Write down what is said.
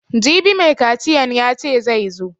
Jibi mai kaciyan yace zai zo